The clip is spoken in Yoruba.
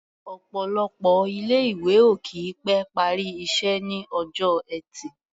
Ọ̀pọ̀lọpọ̀ ilé-ìwé ò kì í pẹ́ parí iṣẹ́ ní ọjọ́ Ẹtì.